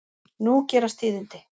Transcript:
Nú gerast tíðindi.